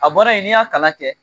A baara in n'i y'a kalan kɛ